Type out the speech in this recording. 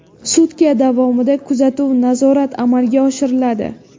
Sutka davomida kuzatuv-nazorat amalga oshiriladi.